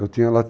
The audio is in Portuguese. Eu tinha, ela